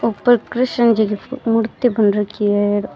ऊपर कृष्ण जी की फोटो मूर्ति बन राखी है।